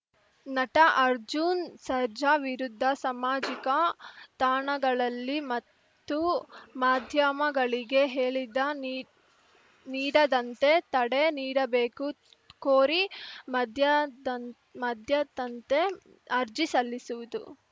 ನಟ ಅರ್ಜುನ್‌ ಸರ್ಜಾ ವಿರುದ್ಧ ಸಮಾಜಿಕ ತಾಣಗಳಲ್ಲಿ ಮತ್ತು ಮಾಧ್ಯಮಗಳಿಗೆ ಹೇಳಿದ ನೀ ನೀಡದಂತೆ ತಡೆ ನೀಡಬೇಕು ಕೋರಿ ಮದ್ಯದ್ ಮದ್ಯದಂತೆ ಅರ್ಜಿ ಸಲ್ಲಿಸುವುದು